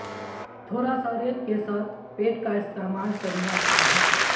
تھوڑا سا ریت کے ساتھ پیٹ کا استعمال کرنا اچھا ہے